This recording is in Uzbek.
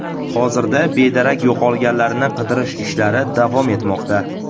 Hozirda bedarak yo‘qolganlarni qidirish ishlari davom etmoqda.